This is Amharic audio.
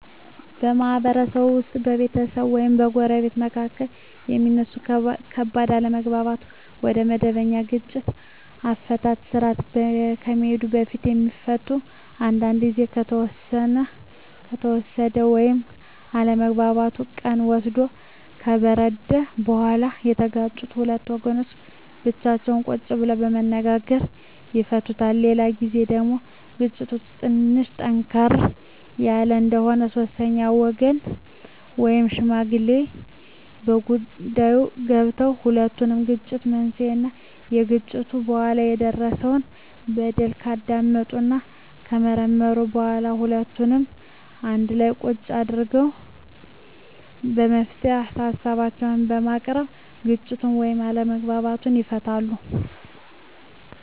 በማህበረሰብ ውስጥ በቤተሰብ ወይም በጎረቤቶች መካከል የሚነሱ ከባድ አለመግባባቶች ወደመበኛ የግጭት አፈታት ስርአት ከመሄዱ በፊት የሚፈቱት አንዳንዱ ግዜ ከተወሰደ ወይም አለመግባባቱ ቀን ወስዶ ከበረደ በኋላ የተጋጩት ሁለት ወገኖች ብቻቸውን ቁጭ ብለው በመነጋገር ይፈቱታል። በሌላ ግዜ ደግሞ ግጭቱ ትንሽ ጠንከር ያለ እንደሆነ ሶስተኛ ወገን ወይም ሽማግሌ በጉዳይዮ ገብቶበት የሁለቱንም የግጭት መንሴና ከግጭቱ በኋላ የደረሰው በደል ካዳመጠና ከመረመረ በኋላ ሁለቱንም አንድላ ቁጭ አድርጎ የመፍትሄ ሀሳቦችን በማቅረብ ግጭቱን ወይም አለመግባባቱን ይፈታል።